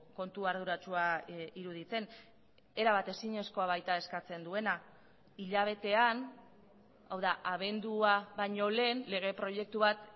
kontu arduratsua iruditzen erabat ezinezkoa baita eskatzen duena hilabetean hau da abendua baino lehen lege proiektu bat